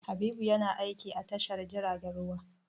Habibu yana aiki a tashar jiragen ruwa.